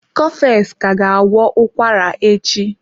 Cofex ka ga agwọ ụkwara echi.